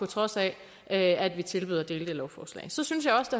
trods af at at vi tilbød at dele det lovforslag så synes jeg også